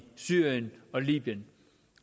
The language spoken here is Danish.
syrien og libyen